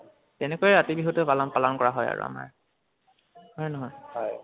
তেনেকৈয়ে ৰাতি বিহুতু পালন পালন কৰা হয় আমাৰ। হয়নে নহয়?